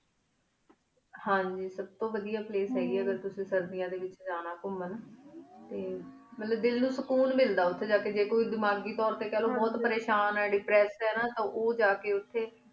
ਹਨ ਜੀ ਸਬ ਤੂੰ ਵਾਦੇਯਾ place ਆਹੀ ਗੀ ਆਯ ਅਗਰ ਤੁਸੀਂ ਸੇਰ੍ਦੇਯਾਂ ਡੀ ਵੇਚ ਜਾਣਾ ਘੁਮਾਣ ਟੀ ਦਿਲ ਉਨ ਸਕ਼ਉਣ ਮਿਲਦਾ ਉਠੀ ਜਾ ਕੀ ਟੀ ਕੋਈ ਦਿਮਾਘੀ ਤੁਰ ਟੀ ਖਲੋ ਬੁਹਤ ਪਰੀ ਸ਼ਾਨ ਆਯ depress ਟੀ ਉਜਾ ਕੀ ਉਠੀ